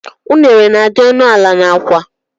Unere na -adi ọnụ ala n' Awka